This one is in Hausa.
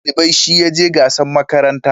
Shugaban dalibai shi ya je gasan makaranta